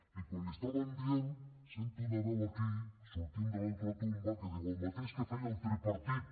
i quan li ho estaven dient sento una veu aquí sortint de la ultratomba que diu el mateix que feia el tripartit